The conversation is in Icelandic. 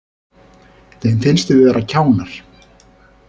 Þeim finnst við vera kjánar